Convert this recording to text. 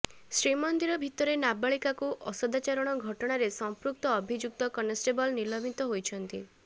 ଶ୍ରୀମନ୍ଦିର ଭିତରେ ନାବାଳିକାକୁ ଅସଦାଚରଣ ଘଟଣାରେ ସଂପୃକ୍ତ ଅଭିଯୁକ୍ତ କନଷ୍ଟେବଲ୍ ନିଲମ୍ବିତ ହୋଇଛନ୍ତି